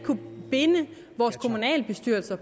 binde vores kommunalbestyrelser